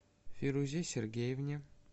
фирузе сергеевне